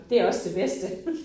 Det også det bedste